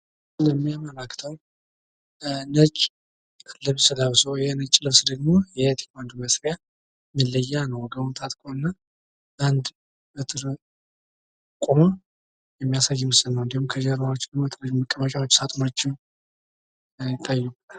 የሚያምር አክተር ነጭ ልብስ ለብሶ ፤ ይህ ነጭ ልብስ ደግሞ የቴኩዋንዶ መስሪያ መለያ ነው ወገቡን ታጥቆ እና በአንድ በትር ቁሞ የሚያሳይ ምስል ነው እንዲሁም ከጀርባው መቀመጫዎች፣ ሳጥኖችም ይታዩበታል።